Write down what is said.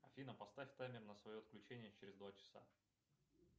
афина поставь таймер на свое отключение через два часа